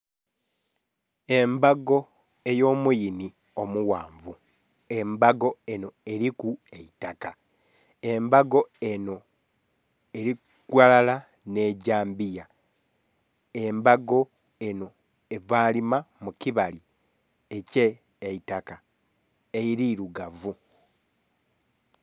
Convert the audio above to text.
Embago eyo muyiinhi omughanvu, embago enho eriku eitaka, embago enho eri ghalala nhe dhambiya, embago enho eva lima mu kibali ekyeitaka erirugavu.